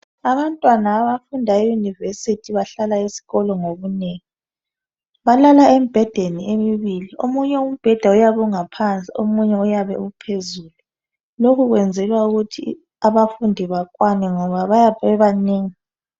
Abantwana abafunda eyunivesithi bahlala esikolo ngobunengi. Balala embhedeni emibili omunye uyabe engaphansi omunye uphezulu.